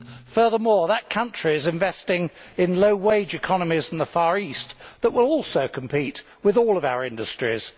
Furthermore, that country is investing in low wage economies in the Far East that will also compete with all of our industries.